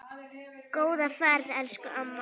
Góða ferð, elsku amma.